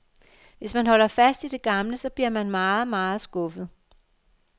Hvis man holder fast i det gamle, så bliver man meget, meget skuffet.